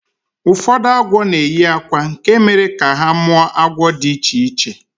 Ụfọdụ agwọ na-eyi akwa nke mere ka ha mụọ agwọ dị iche iche